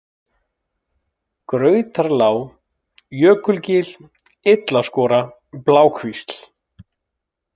Grautarlág, Jökulgil, Illaskora, Blákvísl